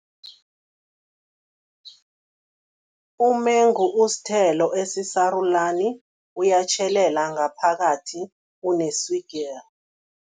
Umengu usithelo esisarulani, uyatjhelela ngaphakathi, uneswigiri.